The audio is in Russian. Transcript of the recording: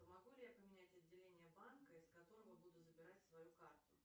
могу ли я поменять отделение банка из которого буду забирать свою карту